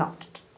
Não.